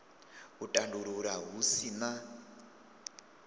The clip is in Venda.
u tandulula hu si na